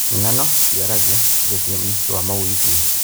Ng'ano ciaragia na rũthiomi rwa mawĩigwi.